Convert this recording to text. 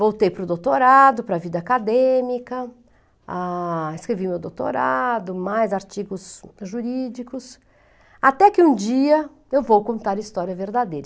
Voltei para o doutorado, para a vida acadêmica, ah, escrevi meu doutorado, mais artigos jurídicos, até que um dia eu vou contar a história verdadeira.